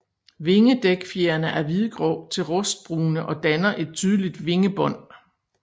Vingedækfjerene er hvidgrå til rustbrune og danner et tydeligt vingebånd